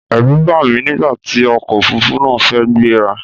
Ẹ̀rù bà mí nígbà tí ọkọ̀ Òfurufú náà fẹ́ gbé ra.